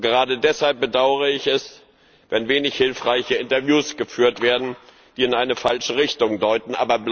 Gerade deshalb bedaure ich es, wenn wenig hilfreiche Interviews geführt werden, die in eine falsche Richtung deuten.